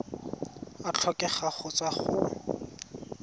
a tlhokega go tswa go